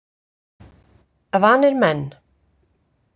Vanir menn.